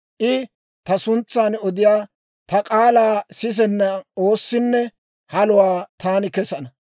I ta suntsan odiyaa ta k'aalaa sisenna oossinne haluwaa taani kesana.